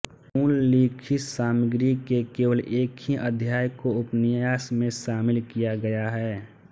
मूल लिखित सामग्री के केवल एक ही अध्याय को उपन्यास में शामिल किया गया है